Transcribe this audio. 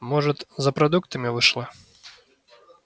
может за продуктами вышла